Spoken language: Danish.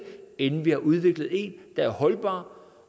inden vi har udviklet en der er holdbar